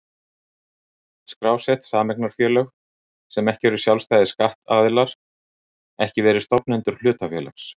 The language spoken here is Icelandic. skrásett sameignarfélög, sem ekki eru sjálfstæðir skattaðilar, ekki verið stofnendur hlutafélags.